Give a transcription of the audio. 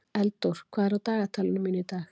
Eldór, hvað er á dagatalinu mínu í dag?